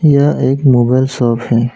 यह एक mobile shop है।